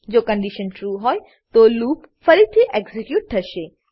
જો condition true હોય તો લૂપ ફરીથી એક્ઝીક્યુટ થશે